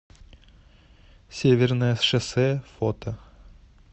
северное шоссе фото